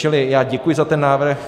Čili já děkuji za ten návrh.